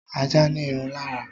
Ajá ní irun lára